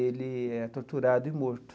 Ele é torturado e morto.